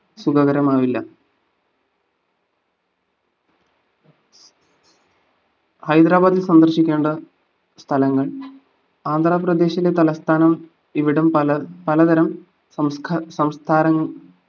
സുഖകരമാവില്ല ഹൈദരാബാദിൽ സന്ദർശിക്കേണ്ട സ്ഥലങ്ങൾ ആന്ധ്രാപ്രദേശിലെ തലസ്ഥാനം ഇവിടം പല പലതരം സംസ്കാ സംസ്കാരങ്ങ